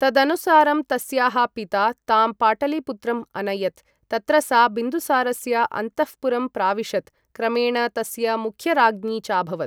तदनुसारं तस्याः पिता तां पाटलिपुत्रम् अनयत्, तत्र सा बिन्दुसारस्य अन्तःपुरं प्राविशत्, क्रमेण तस्य मुख्यराज्ञी चाभवत्।